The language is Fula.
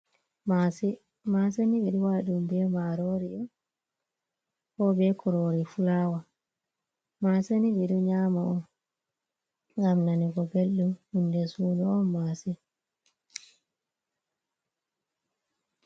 Mase, mase ni minɗo waɗa ɗum ɓe marorio, ko be krori flawa, mase ni ɓeɗo nyama on ngam nanugo bellɗum ɗum d je suno on masin.